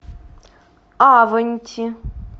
аванти